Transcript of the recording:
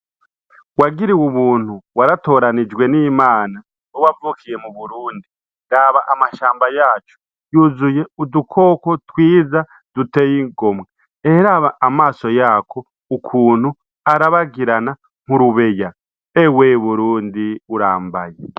Wagiriwe Ubuntu, waratoranijwe n'Imana wewe wavukiye mu Burundi, raba amashamba yacu yuzuye udukoko twiza duteye igomwe, eheraba amaso yako ukuntu arabagirana urubeya. Ewe Burundi urambaye.